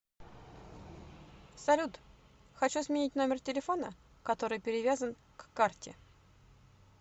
салют хочу сменить номер телефона который перевязан к карте